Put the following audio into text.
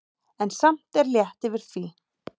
En samt er létt yfir því.